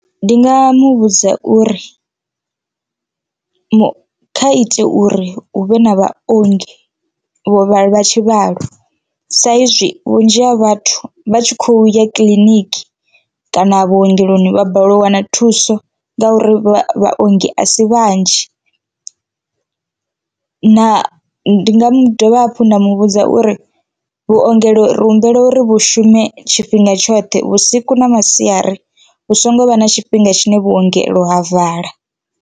Ndi nga muvhudza uri kha ite uri hu vhe na vhaongi vho vhala tshivhalo sa izwi vhunzhi ha vhathu vha tshi khou ya kiḽiniki kana vhuongeloni vha balelwa u wana thuso ngauri vhaongi a si vhanzhi, na ndi nga dovha hafhu nda mu vhudza uri vhuongelo ri humbela uri vhu shume tshifhinga tshoṱhe vhusiku na masiari hu songo vha na tshifhinga tshine vhuongelo ha vala.